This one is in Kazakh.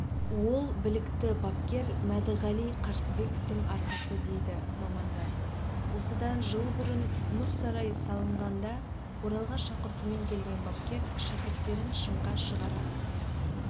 ол білікті бапкер мәдіғали қарсыбековтың арқасы дейді мамандар осыдан жыл бұрын мұз сарайы салынғанда оралға шақыртумен келген бапкер шәкірттерін шыңға шығара